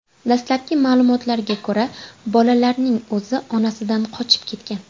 Dastlabki ma’lumotlarga ko‘ra, bolalarning o‘zi onasidan qochib ketgan.